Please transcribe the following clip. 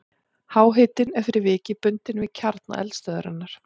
Háhitinn er fyrir vikið bundinn við kjarna eldstöðvarinnar.